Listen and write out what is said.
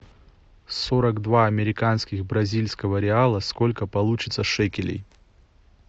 сорок два американских бразильского реала сколько получится шекелей